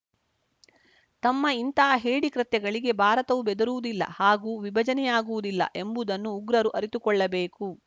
ತಮ್ಮ ಇಂಥ ಹೇಡಿ ಕೃತ್ಯಗಳಿಗೆ ಭಾರತವು ಬೆದರುವುದಿಲ್ಲ ಹಾಗೂ ವಿಭಜನೆಯಾಗುವುದಿಲ್ಲ ಎಂಬುದನ್ನು ಉಗ್ರರು ಅರಿತುಕೊಳ್ಳಬೇಕು